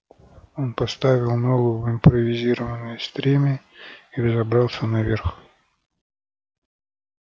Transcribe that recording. он поставил ногу в импровизированное стремя и взобрался наверх